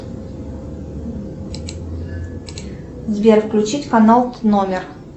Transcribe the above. сбер включить канал номер